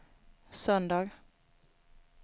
söndag